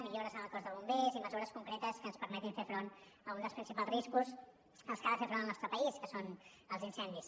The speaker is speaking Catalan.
millores en el cos de bombers i mesures concretes que ens permetin fer front a un dels principals riscos als que ha de fer front el nostre país que són els incendis